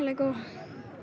góð